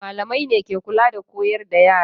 Malamai ne ke kula da koyar da yara.